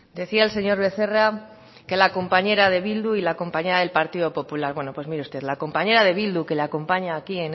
decía el señor becerra que la compañera de bildu y la compañera del partido popular bueno pues mire usted la compañera de bildu que le acompaña aquí